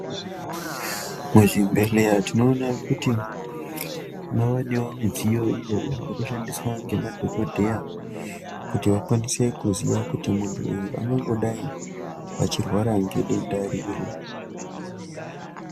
Muzvibhedhleya tinoona kuti mavanewo midziyo iyo yavekushandiswa ngemadhokodheya kuti vakwanise kuziya kuti muntu uyu angangodai achirwara ngedenda riri.